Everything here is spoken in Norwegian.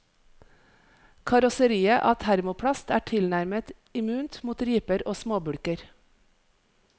Karosseriet av termoplast er tilnærmet immunt mot riper og småbulker.